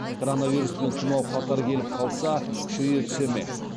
коронавирус пен тұмау қатар келіп қалса күшейе түсе ме